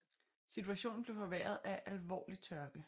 Situationen blev forværret af alvorlig tørke